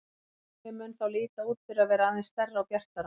Tunglið mun þá líta út fyrir að vera aðeins stærra og bjartara.